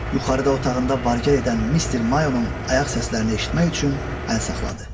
Yuxarıda otağında var-gəl edən Mister Mayonun ayaq səslərini eşitmək üçün əl saxladı.